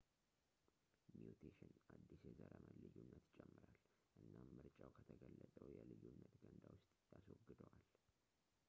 ሚውቴሽን አዲስ የዘረመል ልዩነትን ይጨምራል ፣ እናም ምርጫው ከተገለፀው የልዩነት ገንዳ ውስጥ ያስወግደዋል